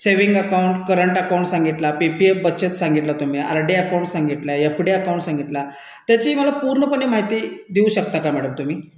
P P S बचत, RD, ती मला पूर्ण माहिती देऊ शकता का मॅडम तुम्ही